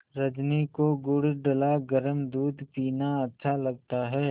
रजनी को गुड़ डला गरम दूध पीना अच्छा लगता है